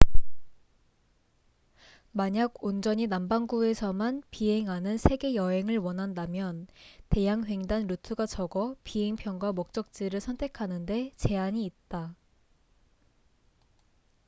만약 온전히 남반구에서만 비행하는 세계 여행을 원한다면 대양횡단 루트가 적어 비행 편과 목적지를 선택하는데 제한이 있다